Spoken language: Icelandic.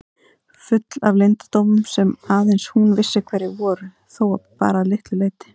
Full af leyndardómum sem aðeins hún vissi hverjir voru þó bara að litlu leyti.